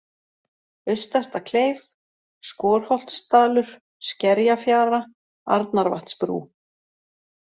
Austasta-Kleif, Skorholtsdalur, Skerjafjara, Arnarvatnsbrú